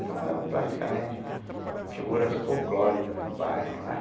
Então, eram praticamente figuras folclóricas no bairro, né?